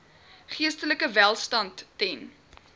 geestelike welstand ten